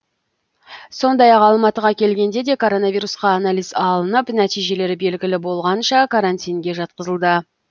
сондай ақ алматыға келгенде де коронавирусқа анализ алынып нәтижелері белгілі болғанша карантинге жатқызылды